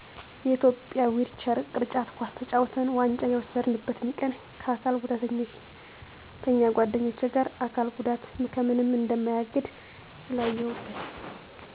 የኢትዮጵያ ዊልቸር ቅርጫት ኳስ ተጫውተን ዋንጫ የወሰድነበትን ቀን ከአካል ጉዳተኛ ጓደኞቸ ጋር አካል ጉዳት ከምንም እንደማያግድ ስላየሁበት